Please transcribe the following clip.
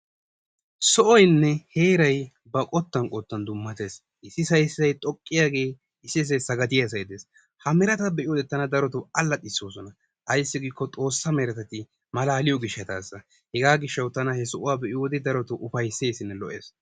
So'oynne heeray ba qottan qottan dummatees. issisay iossisay xoqqiyagee issisay sagadiyasay de'ees. ha merettaa be'iyode tana darotoo allaxxisoosona. ayssi giiko xoosaa merettati malaaliyo gishataasa. hegaa gishawu tana he sohuwa be'iyode ufaysessinne malaales.